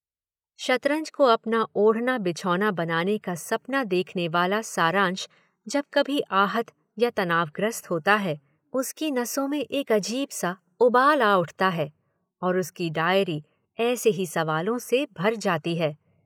शतरंज को अपना ओढ़ना-बिछौना बनाने का सपना देखनेवाला सारंश जब कभी आहत या तनावग्रस्त होता है उसकी नसों में एक अजीब-सा उबाल आ उठता है और उसकी डायरी ऐसे ही सवालों से भर जाती है।